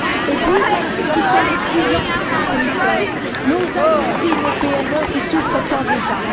Et puis, il y a ceux qui sont les clients de ces fournisseurs, nos industries, nos PME, qui souffrent tant déjà.